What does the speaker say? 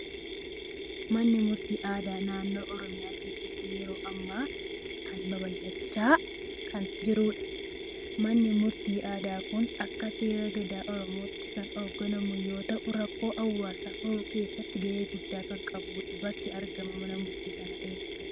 Manni Murtii Aadaa naannoo Oromiyaa keessatti yeroo ammaa kan babal'achaa kan jirudha. Manni Murtii Aadaa kun akka seera Gadaa Oromootti kan hoogganamu yoo ta'u, rakkoolee hawaasaa furuu keessatti gahee guddaa kan qabudha. Bakki argama Mana Murtii kanaa eessadha?